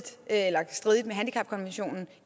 med handicapkonventionen